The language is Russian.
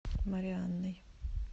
марианной